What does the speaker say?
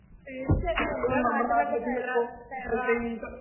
തീര്‍ച്ചയായിട്ടും. എന്‍റെ നാട്ടിലൊക്കെ തെറ